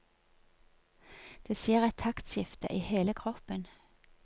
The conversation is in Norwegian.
Det skjer et taktskifte i hele kroppen.